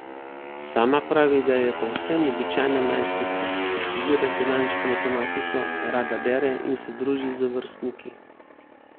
Sama pravi, da je povsem običajna najstnica, ki študira finančno matematiko, rada bere in se druži z vrstniki.